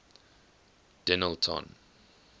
denillton